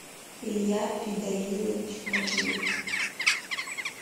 илья фидаилович макеев